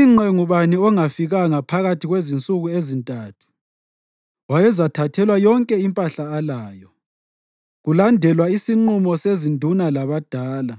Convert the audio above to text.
Ingqe ngubani ongafikanga phakathi kwensuku ezintathu wayezathathelwa yonke impahla alayo, kulandelwa isinqumo sezinduna labadala,